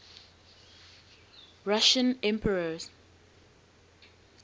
russian emperors